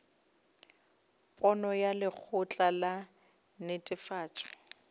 pono ya lekgotla la netefatšo